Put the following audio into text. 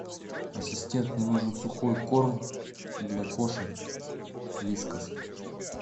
ассистент мне нужен сухой корм для кошек вискас